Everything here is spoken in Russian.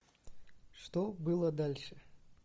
что было дальше